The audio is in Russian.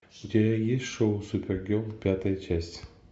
у тебя есть шоу супергерл пятая часть